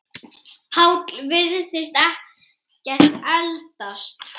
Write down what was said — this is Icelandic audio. Páll virðist ekkert eldast.